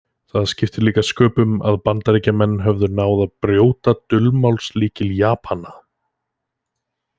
Það skipti líka sköpum að Bandaríkjamenn höfðu náð að brjóta dulmálslykil Japana.